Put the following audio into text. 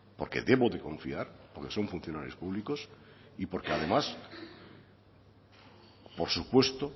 porque debo de confiar porque son funcionarios públicos y porque además por supuesto